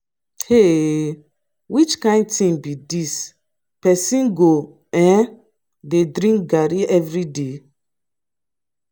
um which kin thing be dis person go um dey drink garri everyday.